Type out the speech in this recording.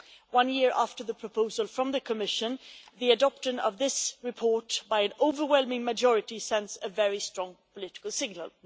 One year after the proposal from the Commission the adoption of this report by an overwhelming majority sends a very strong political signal.